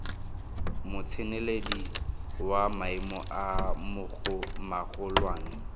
motseneledi wa maemo a magolwane